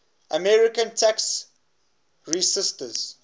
american tax resisters